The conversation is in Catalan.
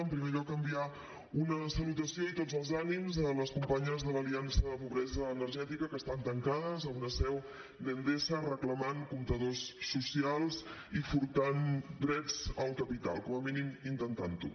en primer lloc enviar una salutació i tots els ànims a les companyes de l’aliança contra la pobresa energètica que estan tancades a una seu d’endesa reclamant comptadors socials i furtant drets al capital com a mínim intentant ho